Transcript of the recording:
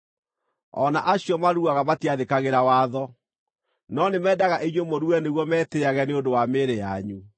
O na acio maruaga matiathĩkagĩra watho, no nĩmendaga inyuĩ mũrue nĩguo metĩĩage nĩ ũndũ wa mĩĩrĩ yanyu.